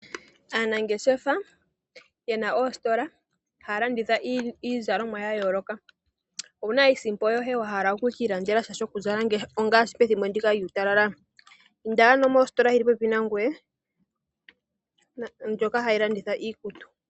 Aanangeshefa yena oositola haya landitha iizalomwa ya yooloka. Owuna iisimpo yoye wa hala ku kiilandelesha ngaashi pethimbo ndika lyuutalala inda ano mositola yili popepi nangoye ndjoka hayi landitha iikutu.